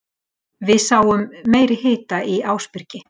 Við sáum meiri hita í Ásbyrgi